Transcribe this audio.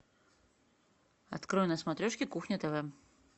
открой на смотрешке кухня тв